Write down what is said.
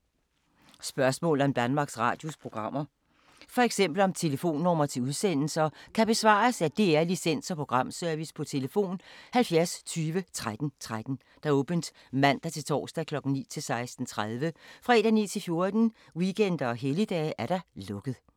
Spørgsmål om Danmarks Radios programmer, f.eks. om telefonnumre til udsendelser, kan besvares af DR Licens- og Programservice: tlf. 70 20 13 13, åbent mandag-torsdag 9.00-16.30, fredag 9.00-14.00, weekender og helligdage: lukket.